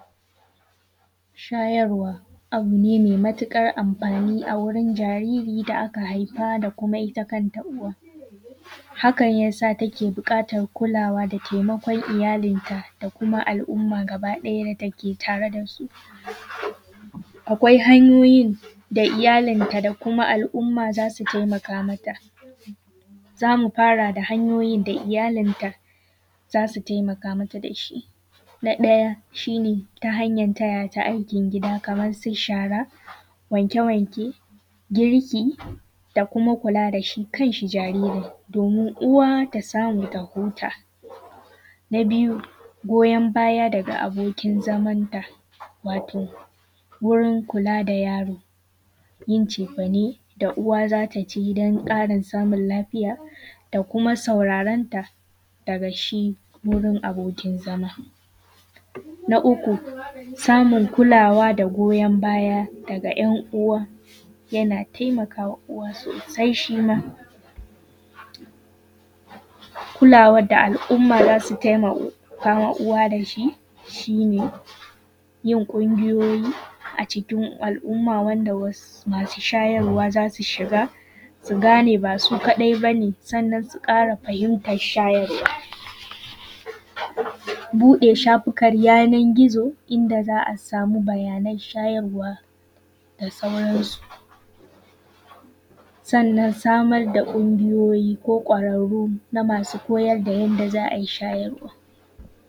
Shayarwa abu ne mai matuƙar amfani a wurin jariri da aka haifa da kuma ita kanta uwan. Hakan yasa take buƙatar kulawa da taimakon iyalinta da kuma al’umman gaba ɗaya da take tare da su. Akwai hanyoyin da iyalinta da kuma al’umma za su taimaka mata, za mu fara da hanyoyin da iyalinta za su taimaka mata da shi. Na ɗaya, shi ne ta hanyar taya ta aikin gida kamar su shara, wanke-wanke, girki da kuma kula da shi kan shi jaririn, domin uwa ta samu ta huta. Na biyu, goyon baya daga abokin zamanta, wato wurin kula da yaro, yin cefane da uwa za ta ci don ƙarin samun lafiya da kuma sauraronta daga shi wurin abokin zama. Na uku, samun kulawa da goyon baya daga ‘yan uwa, yana taimakawa uwa sosai shima. Kulawar da al’umma za su taimakama uwa da shi, shi ne, yin ƙungiyoyi acikin al’umma wanda was, masu shayarwa za su shiga su gane ba su kaɗai bane, sannan su ƙara fahimtar shayarwa. Buɗe shafukan yanar gizo inda za a samu bayanan shayarwa da sauransu. Sannan samar da ƙungiyoyi ko ƙwararru na masu koyar da yanda za a yi shayarwa.